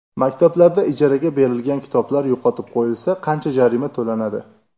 Maktablarda ijaraga berilgan kitoblar yo‘qotib qo‘yilsa, qancha jarima to‘lanadi?.